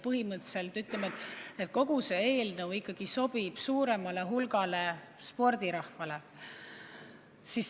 Põhimõtteliselt, ütleme, kogu see eelnõu ikkagi sobib suuremale hulgale spordirahvale.